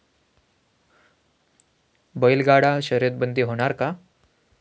बैलगाडा शर्यतबंदी होणार का?